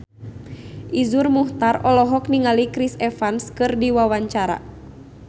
Iszur Muchtar olohok ningali Chris Evans keur diwawancara